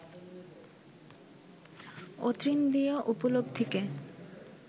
অতীন্দ্রিয় উপলব্ধিকে